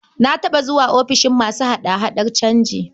Na taɓa zuwa offishin masu hada-hadar canji.